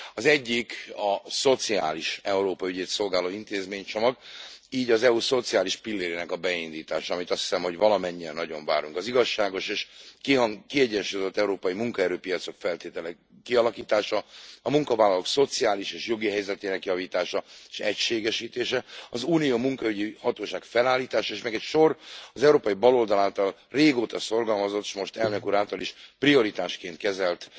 Az egyik a szociális Európa ügyét szolgáló intézménycsomag, így az EU szociális pillérének beindítása, amit, azt hiszem, valamennyien nagyon várunk, az igazságos és kiegyensúlyozott európai munkaerőpiacok feltételének kialakítása, a munkavállalók szociális és jogi helyzetének javítása s egységesítése, az Unió munkaügyi hatóságának felállítása, és még egy sor, az európai baloldal által régóta szorgalmazott, s most az Elnök Úr által is prioritásként kezelt